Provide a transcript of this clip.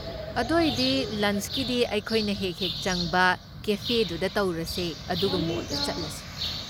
ꯑꯗꯣꯏꯗꯤ ꯂꯟꯆꯀꯤꯗꯤ ꯑꯩꯈꯣꯏꯅ ꯍꯦꯛ ꯍꯦꯛ ꯆꯪꯕ ꯀꯦꯐꯦꯗꯨꯗ ꯇꯧꯔꯁꯦ ꯑꯗꯨꯒ ꯃꯣꯜꯗ ꯆꯠꯂꯁꯦ꯫